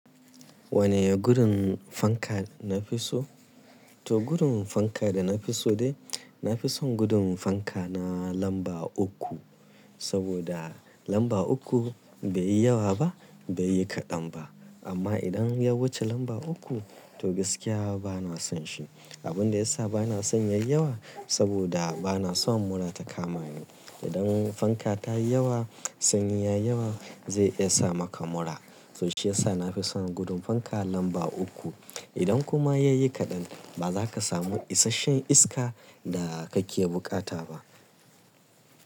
Wane gudun fanka na fi so? To gurin fanka da na fi so dai, na fi son gurin fanka na lamba uku. Saboda lamba uku bai yi yawa ba bai yi kaɗan ba. Amma idan ya wuce lamba uku to gaskiya ba na son shi. Abin da ya sa ba na son yayi yawa saboda ba na son mura ta kama ni. Idan fanka ta yi yawa sanyi yayi yawa zai iya sa maka mura. To shi ya sa na fi son gurin fanka lamba uku. Idan kuma ya yi kaɗan ba za ka samu isashen iska da kake bukata ba.